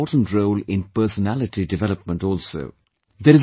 Sports play an important role in personality development also